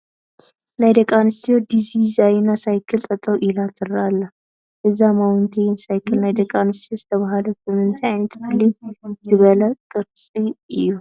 ናይ ደቂ ኣንስትዮ ዝዲዛይና ሳይክል ጠጠው ኢላ ትርአ ኣላ፡፡ እዛ ማውንተይን ሳይክል ናይ ደቂ ኣንስትዮ ዝተባህለት ብምንታይ ዓይነት ፍልይ ዝበለ ቅርፃ እዩ?